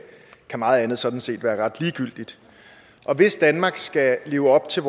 meget andet sådan set kan være ret ligegyldigt hvis danmark skal leve op til